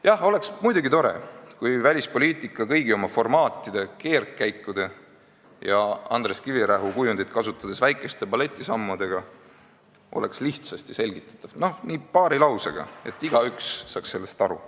Jah, muidugi oleks tore, kui välispoliitika oleks kõigi oma formaatide, keerdkäikude ja Andrus Kivirähki kujundit kasutades väikeste balletisammudega lihtsasti selgitatav – nii paari lausega, et igaüks saaks sellest aru.